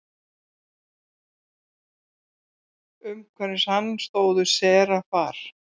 Umhverfis hann stóðu serafar.